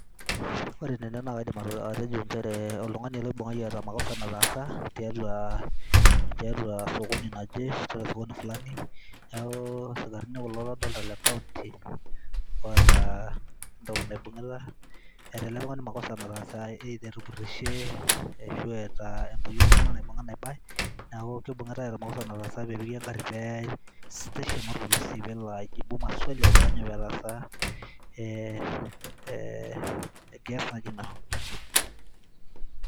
ore ene naa kaidim atejooltungani ele oibungaki eeta makosa tiatua, tiatua osokoni laje. netooruoki nkilani ,neeku isikarini kulo ladolta le county oota entoki naibungita . eeta ele tungani makosa nataasa .either etupurishe ashu eeta entoki oltunganak naibunga naibay